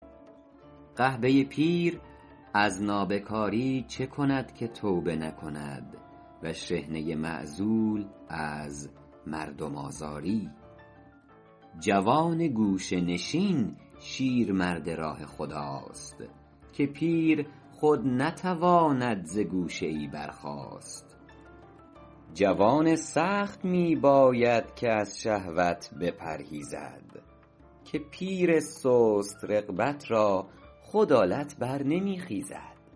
قحبه پیر از نابکاری چه کند که توبه نکند و شحنه معزول از مردم آزاری جوان گوشه نشین شیرمرد راه خداست که پیر خود نتواند ز گوشه ای برخاست جوان سخت می باید که از شهوت بپرهیزد که پیر سست رغبت را خود آلت بر نمی خیزد